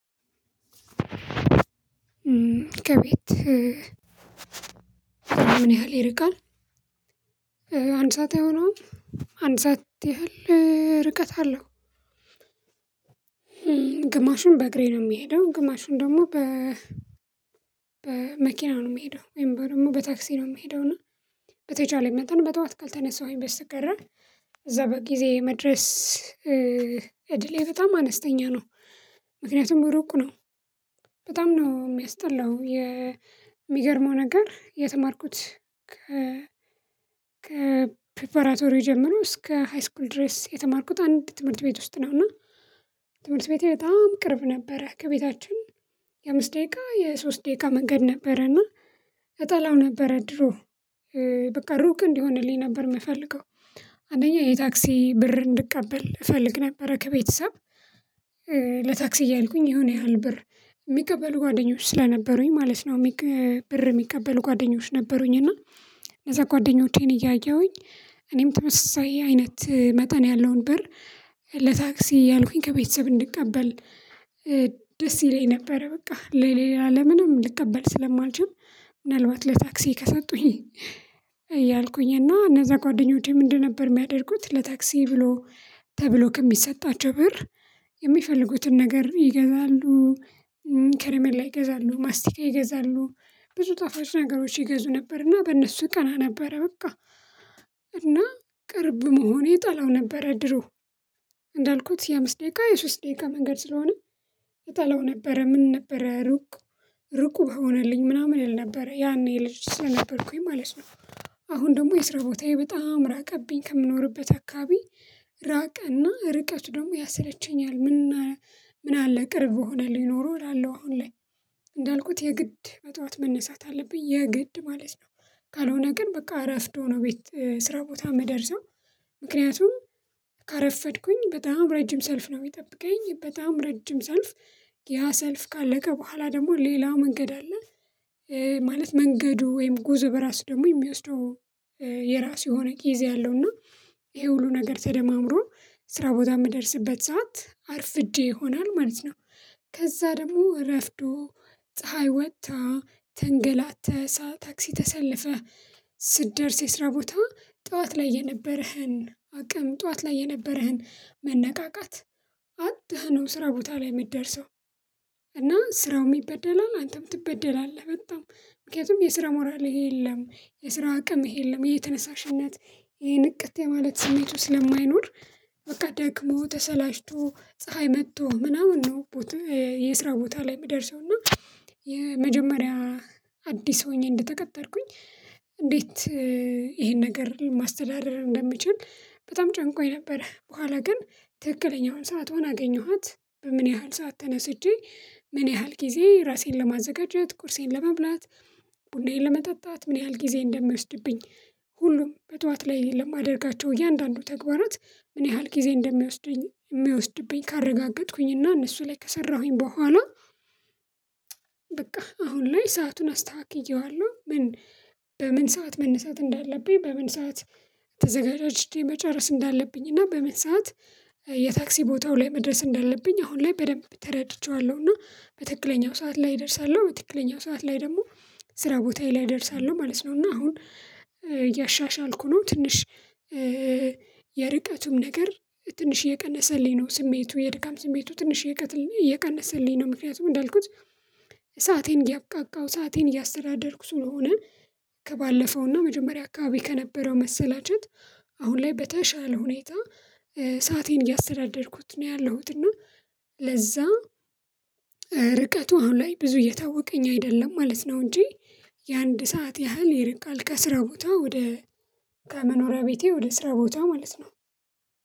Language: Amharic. ከቤት ምን ያህል ይርቃል? አንድ ሰዓት አይሆነውም አንድ ሰዓት ያህል ርቀት አለው ግማሹን በእግሬ ነው የምሄደው ግማሹን ደግሞ በ በመኪና ነው የምሄደው ወይም በ ደግሞ በታክሲ ነው የምሄደው በተቻለኝ መጠን በጧት ካልተነሳሁኝ በስተቀረ እዛ በጊዜ መድረስ እድሌ በጣም አነስተኛ ነው ምክንያቱም ሩቅ ነው በጣም ነው የሚያስጠላው የሚገርመው ነገር የተማርኩት ከ ከፕሪፓራቶሪ ጀምሮ እስከ ሃይስኩል ድረስ የተማርኩት አንድ ትምህርት ቤት ውስጥ ነው እና ትምህርት ቤቴ በጣም ቅርብ ነበረ ከቤታችን የአምስት ደቂቃ የሶስት ደቂቃ መንገድ ነበረና እጠላው ነበረ ድሮ በቃ ሩቅ እንዲሆንልኝ ነበር የምፈልገው አንደኛ የታክሲ ብር እንድቀበል እፈልግ ነበረ ከቤተሰብ ለታክሲ እያልኩኝ የሆነ ያህል ብር የሚቀበሉ ጓደኞች ስለነበሩኝ ማለት ነው ብር የሚቀበሉ ጓደኞች ነበሩኝ እና እነዛ ጓደኞቼን እያየሁኝ እኔም ተመሳሳይ አይነት መጠን ያለውን ብር ለታክሲ እያልኩኝ ከቤተሰብ እንድቀበል ደስ ይለኝ ነበረ በቃ ለሌላ ለምንም ልቀበል ስለማልችም ምናልባት ለታክሲ ከሰጡኝ እያልኩኝ እና እነዛ ጓደኞቼ ምንድን ነበር የሚያደርጉት ለታክሲ ብሎ ተብሎ ከሚሰጣቸው ብር የሚፈልጉትን ነገር ይገዛሉ ከረሚላ ይገዛሉ ማስቲካ ይገዛሉ ብዙ ጣፋጭ ነገሮችን ይገዙ ነበርና በእነሱ እቀና ነበረ በቃ እና ቅርብ መሆኔ እጠላው ነበረ ድሮ እንዳልኩት የአምስት ደቂቃ የሶስት ደቂቃ መንገድ ስለሆነ እጠላው ነበረ ምን ነበረ ሩቅ ሩቅ በሆነልኝ ምናምን እል ነበረ ያኔ ልጅ ስለነበርኩኝ ማለት ነው አሁን ደግሞ የስራ ቦታዬ በጣም ራቀብኝ ከምኖርበት አካባቢ ራቀና ርቀቱ ደግሞ ያሰለቸኛል ምን ምን አለ ቅርብ በሆነልኝ ኖሮ እላለሁ አሁን ላይ እንዳልኩት የግድ በጠዋት መነሳት አለብኝ የግድ ማለት ነው ካልሆነ ግን በቃ እረፍዶ ነው ቤት ስራ ቦታ የምደርሰው ምክንያቱም ካረፈድኩኝ በጣም ረጅም ሰልፍ ነው የሚጠብቀኝ በጣም ረጅም ሰልፍ ያ ሰልፍ ካለቀ በኋላ ደግሞ ሌላ መንገድ አለ ማለት መንገዱ ወይም ጉዞው በራሱ ደግሞ የሚወስደው የራሱ የሆነ ጊዜ አለው እና ይሄ ሁሉ ነገር ተደማምሮ ስራ ቦታ የምደርስበት ሰዓት አርፍጄ ይሆናል ማለት ነው ከዛ ደግሞ እረፍዶ ፀሀይ ወጥታ ተንገላተህ ታክሲ ተሰለፈ ስትደርስ የስራ ቦታ ጠዋት ላይ የነበረህን አቅም ጠዋት ላይ የነበረህን መነቃቃት አጥተህ ነው ስራ ቦታ ላይ የምትደርሰው እና ስራውም ይበደላል አንተም ትበደላለህ በጣም ምክንያቱም የስራ ሞራልህ የለም የስራ አቅምህ የለም የተነሳሽነት ይሄን ንቅት የማለት ስሜቱ ስለማይኖር በቃ ደክሞ ተሰላችቶ ፀሀይ መቶ ምናምን ነው የስራ ቦታ ላይ የሚደርሰው እና የመጀመሪያ አዲስ ሆኜ እንደተቀጠርኩኝ እንዴት ይሄን ነገር ማስተዳደር እንደምችል በጣም ጨንቆኝ ነበረ በኋላ ግን ትክክለኛውን ሰዓት ሆና አገኘኋት በምን ያህል ሰዓት ተነስቼ ምን ያህል ጊዜ ራሴን ለማዘጋጀት ቁርሴን ለመብላት ቡናዬን ለመጠጣት ምን ያህል ጊዜ እንደሚወስድብኝ ሁሉም በጧት ላይ ለማደርጋቸው እያንዳንዱ ተግባራት ምን ያህል ጊዜ እንደሚወስደኝ እንደሚወስድብኝ ካረጋገጥኩኝ እና እነሱ ላይ ከሰራሁኝ በኋላ በቃ አሁን ላይ ሰአቱን አስተካክዬዋለሁ ምን በምን ሰዓት መነሳት እንዳለብኝ በምን ሰዓት ተዘጋጅቼ መጨረስ እንዳለብኝ እና በምን ሰዓት የታክሲ ቦታው ላይ መድረስ እንዳለብኝ አሁን ላይ በደንብ ተረድቼዋለሁ እና በትክክለኛው ሰዓት ላይ እደርሳለሁ በትክክለኛው ሰዓት ላይ ደግሞ ስራ ቦታዬ ላይ እደርሳለሁ ማለት ነው እና አሁን እያሻሻልኩ ነው ትንሽ የርቀቱም ነገር ትንሽ እየቀነሰልኝ ነው ስሜቱ የድካም ስሜቱ ትንሽ እየቀ እየቀነሰልኝ ነው ምክንያቱም እንዳልኩት ሰአቴን እያብቃቃሁ ሰአቴን እያስተዳደርኩ ስለሆነ ከባለፈውና መጀመሪያ አካባቢ ከነበረው መሰላቸት አሁን ላይ በተሻለ ሁኔታ ሰአቴን እያስተዳደርኩት ነው ያለሁት እና ለዛ ርቀቱ አሁን ላይ ብዙ እየታወቀኝ አይደለም ማለት ነው እንጂ የአንድ ሰዓት ያህል ይርቃል ከስራ ቦታ ወደ ከመኖሪያ ቤቴ ወደ ስራ ቦታ ማለት ነው